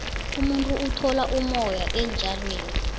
umuntu uthola umoya entjalweni